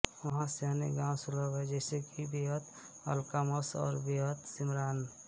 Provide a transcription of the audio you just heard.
वहाँ से अन्य गाँव सुलभ हैं जैसे कि बेअत अलक़ामस और बेअत शिमरान